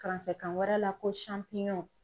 kan wɛrɛ la ko